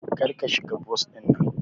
Kar ka shiga bas dinnan!